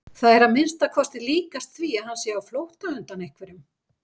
Það er að minnsta kosti líkast því að hann sé á flótta undan einhverjum.